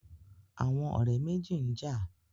Àwọn ọ̀rẹ́ méjì n jà